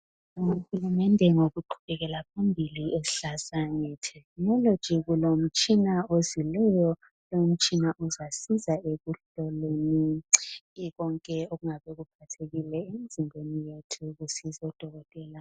siyabonga uhulumende ngokuqubekela phambili esixhasa nge technology kulomtshina ozileyo lo mtshina uzasiza ekuhloleni konke okungabe kuphathekile emzimbeni yethu kusiza o dokotela